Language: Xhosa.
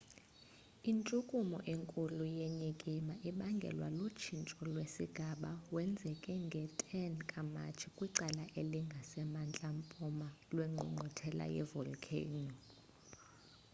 intshukumo enkulu yenyikima ibangelwe lutshintsho lwesigaba wenzeke nge-10 ka-matshi kwicala elingasemantla mpuma lwengqungquthela ye-volikheyino